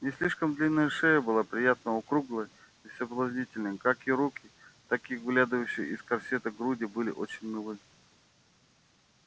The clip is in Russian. не слишком длинная шея была приятно округлой и соблазнительной как и руки так и выглядывавшие из корсета груди были очень милы